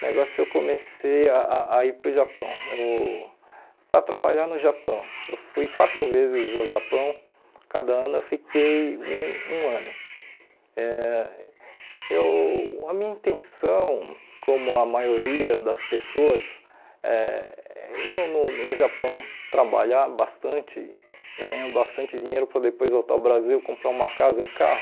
o negócio eu comecei a a a ir para o Japão eu para trabalhar no Japão eu fui quatro vezes ao Japão cada ano eu fiquei um um ano eh eu a minha intenção como a maioria das pessoas eh no no no Japão trabalhar bastante ganhar bastante dinheiro para depois voltar ao Brasil comprar uma casa e um carro